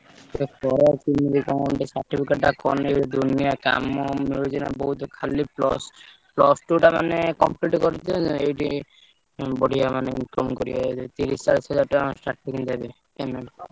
ଏବେ ବୋଲି କଣ ଗୋଟେ certificate ଟା କଲେ ଦୁନିଆ କାମ ମିଳୁଚି ନା ବହୁତ୍ ଖାଲି plus plus two ଟା ମାନେ complete କରିଦେଲେ ଏଇଠି ଉଁ ବଢିଆ ମାନେ କାମ କରିବା ତିରିଶି ଚାଳିଶି ହଜାର ଟଙ୍କା starting ଦେବେ payment ।